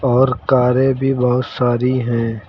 और कारें भी बहुत सारी हैं।